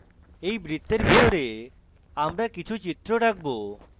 এই বৃত্তের ভিতরে আমরা কিছু চিত্র রাখব